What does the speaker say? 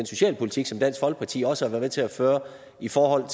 socialpolitik som dansk folkeparti også har været med til at føre i forhold